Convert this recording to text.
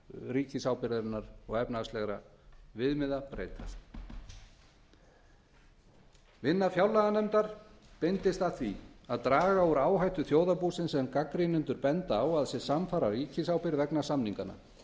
ríkisábyrgðarinnar og efnahagslegra viðmiða breytast vinna fjárlaganefndar beindist að því að draga úr áhættu þjóðarbúsins sem gagnrýnendur benda á að sé samfara ríkisábyrgð vegna samninganna